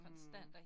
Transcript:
Mh